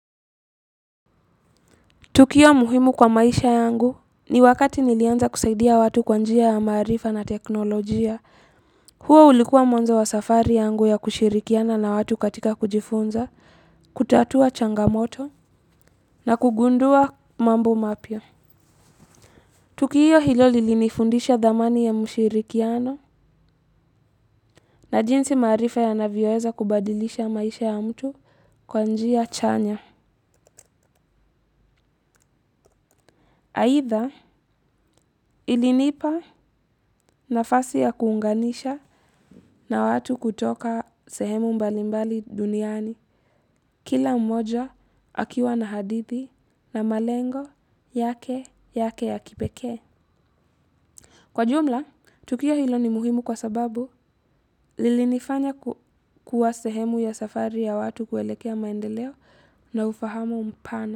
Tukio muhimu kwa maisha yangu ni wakati nilianza kusaidia watu kwa njia ya maarifa na teknolojia. Huo ulikuwa mwanzo wa safari yangu ya kushirikiana na watu katika kujifunza, kutatua changamoto na kugundua mambo mapya. Tukio hilo lilinifundisha thamani ya mshirikiano na jinsi maarifa yanavyoeza kubadilisha maisha ya mtu kwa njia chanya. Aidha ilinipa nafasi ya kuunganisha na watu kutoka sehemu mbalimbali duniani. Kila mmoja akiwa na hadithi na malengo yake yake ya kipekee. Kwa jumla, tukio hilo ni muhimu kwa sababu lilinifanya kuwa sehemu ya safari ya watu kuelekea maendeleo na ufahamu mpana.